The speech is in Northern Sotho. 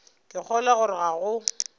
ke kgolwa gore ga go